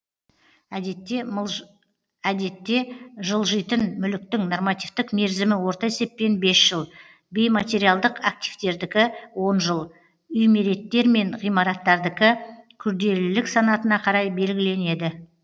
әдетте жылжитын мүліктің нормативтік мерзімі орта есеппен бес жыл бейматериалдық активтердікі он жыл үймереттер мен ғимараттардікі күрделілік санатына қарай белгіленеді